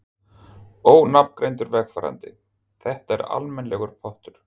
Ónafngreindur vegfarandi: Þetta er almennilegur pottur?